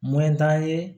t'an ye